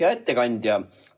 Hea ettekandja!